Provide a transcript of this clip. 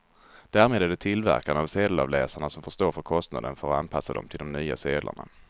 Därmed är det tillverkarna av sedelavläsarna som får stå för kostnaden för att anpassa dem till de nya sedlarna.